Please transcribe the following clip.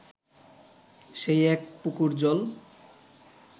সেই এক পুকুর জল